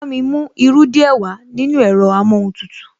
Bámi mú irú díẹ̀ wàá nínú ẹ̀rọ amóhuntutù